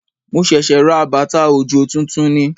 Mo ṣẹ̀ṣẹ̀ ra bàtà òjò tuntun ni